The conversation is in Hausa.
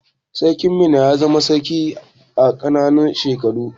Sarkin Minna ya zama sarki a ƙananan shekaru.